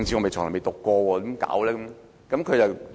但他從未讀過政治，怎辦？